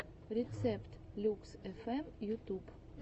рецепт люкс фм ютуб